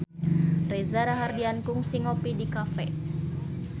Reza Rahardian kungsi ngopi di cafe